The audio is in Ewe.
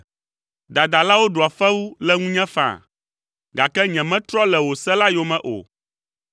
Dadalawo ɖua fewu le ŋunye faa, gake nyemetrɔ le wò se la yome o.